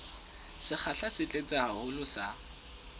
sekgahla se tlase haholo sa